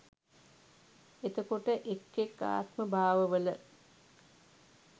එතකොට, එක් එක් ආත්මභාවවල